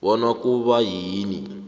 bona kuba yini